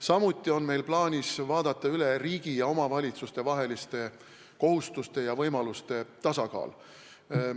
Samuti on meil plaanis vaadata üle riigi ja omavalitsuste kohustuste ja võimaluste tasakaal.